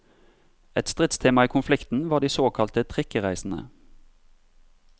Et stridstema i konflikten var de såkalte trikkereisene.